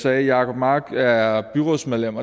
at jacob mark er byrådsmedlem